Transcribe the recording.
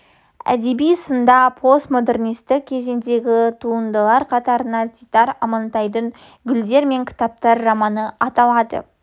әдеби сында постмодернистік кезеңдегі туындалар қатарында дидар амантайдың гүлдер мен кітаптар романы аталады